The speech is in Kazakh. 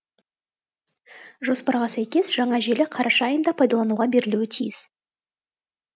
жоспарға сәйкес жаңа желі қараша айында пайдалануға берілуі тиіс